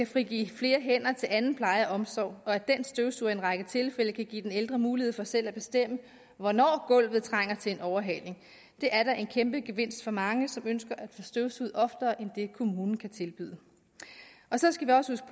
frigive flere hænder til anden pleje og omsorg og at den støvsuger i en række tilfælde kan give den ældre mulighed for selv at bestemme hvornår gulvet trænger til en overhaling det er da en kæmpe gevinst for mange som ønsker at få støvsuget oftere end det kommunen kan tilbyde og så skal vi også